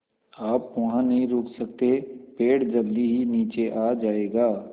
आप वहाँ नहीं रुक सकते पेड़ जल्दी ही नीचे आ जाएगा